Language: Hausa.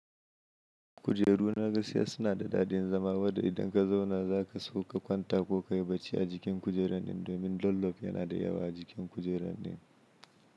Kujeru na gaskiya suna da dadin zama, wadanda idan ka zauna za ka sauka kwanta ko ka yi bacci a jikin kujerar din domin dollof yana da yawa a jikin kujerar din.